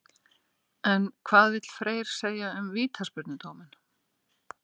En hvað vill Freyr segja um vítaspyrnudóminn?